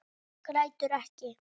Grætur ekki.